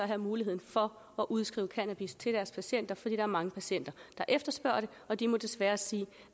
have muligheden for at udskrive cannabis til deres patienter fordi der er mange patienter der efterspørger det og de må desværre sige